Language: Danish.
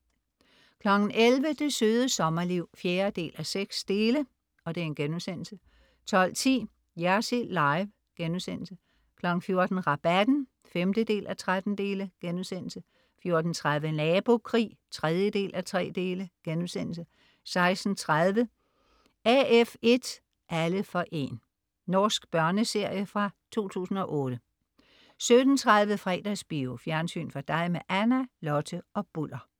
11.00 Det Søde Sommerliv 4:6* 12.10 Jersild Live* 14.00 Rabatten 5:13* 14.30 Nabokrig 3:3* 16.30 AF1, alle for 1. Norsk børneserie fra 2008 17.30 Fredagsbio. Fjernsyn for dig med Anna, Lotte og Bulder